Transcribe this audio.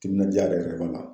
Timinandiya yɛrɛ yɛrɛ b'a la.